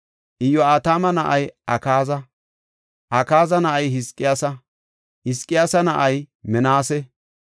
Iyo7atama na7ay Akaaza; Akaaza na7ay Hizqiyaasa; Hizqiyaasa na7ay Minaase;